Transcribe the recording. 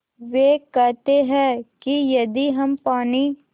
वे कहते हैं कि यदि हम पानी